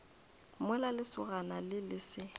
mola lesogana le le se